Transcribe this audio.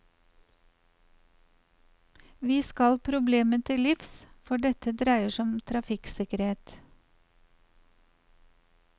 Vi skal problemet til livs, for dette dreier seg om trafikksikkerhet.